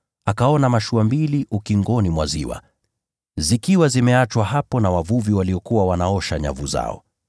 akaona mashua mbili ukingoni mwa ziwa, zikiwa zimeachwa hapo na wavuvi waliokuwa wanaosha nyavu zao.